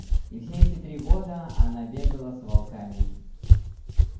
и все эти три года она бегала с волками